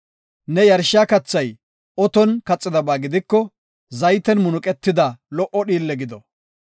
Ne yarshiya kathay oton kaxidaba gidiko zayten munuqetida lo77o dhiille gido.